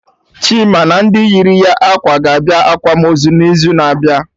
Chima na ndị yiri ya ákwà ga-abịa akwamozu n'izu na abịa